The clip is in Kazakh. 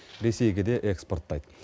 ресейге де экспорттайды